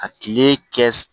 A tile kɛ